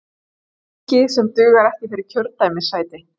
Fylgi sem dugar ekki fyrir kjördæmissæti